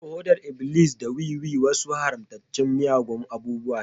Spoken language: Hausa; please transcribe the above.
Heroin, hodar iblis, da wiwi wasu haramtattun miyagun abubuwa ne.